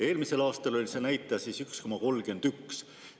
Eelmisel aastal oli see näitaja 1,31.